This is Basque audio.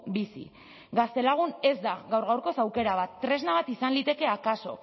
bizi gaztelagun ez da gaur gaurkoz aukera bat tresna bat izan liteke akaso